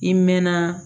I mɛɛnna